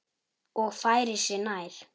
Og færir sig nær.